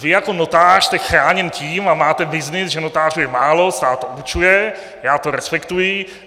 Vy jako notář jste chráněn tím a máte byznys, že notářů je málo, stát to určuje, já to respektuji.